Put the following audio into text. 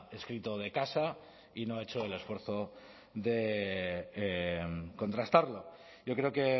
escrito de casa y no ha hecho el esfuerzo de contrastarlo yo creo que